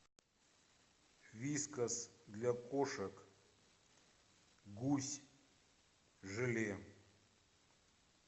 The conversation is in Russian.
вискас для кошек гусь желе